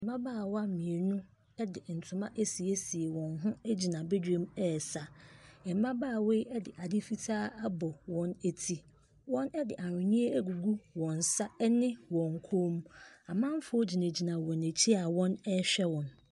Mmabaawa mmienu de ntoma asiesie wɔn ho gyina badwam ɛresa. Mmabaawa yi de ade fitaa abɔ wɔn ti, wɔde aweneɛ agugu wɔn nsa ne wɔn kɔn mu. Amamfoɔ gyinagyina wɔn akyi a wɔrehwɛ wɔn.